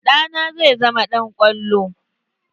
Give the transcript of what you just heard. Ɗa na zai zama ɗan ƙwallo.